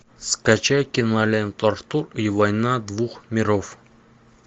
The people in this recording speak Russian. скачай киноленту артур и война двух миров